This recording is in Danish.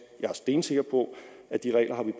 jeg er stensikker på at de regler har vi